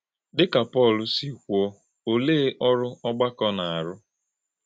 Dí̄ kà Pọ̄l sị̄ kwúō, olè̄e ọ̀rụ̀ ọ̀gbàkọ̄ na - àrụ́?